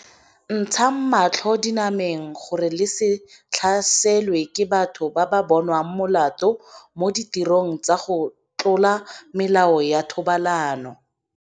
Ntshang matlho dinameng gore le se tlhaselwe ke batho ba ba bonweng molato mo ditirong tsa go tlola melao ya thobalano.